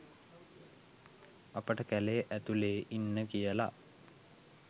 අපට කැලේ ඇතුලේ ඉන්න කියලා